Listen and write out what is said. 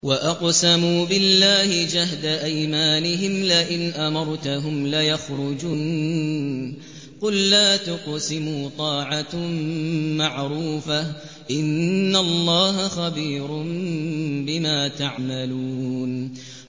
۞ وَأَقْسَمُوا بِاللَّهِ جَهْدَ أَيْمَانِهِمْ لَئِنْ أَمَرْتَهُمْ لَيَخْرُجُنَّ ۖ قُل لَّا تُقْسِمُوا ۖ طَاعَةٌ مَّعْرُوفَةٌ ۚ إِنَّ اللَّهَ خَبِيرٌ بِمَا تَعْمَلُونَ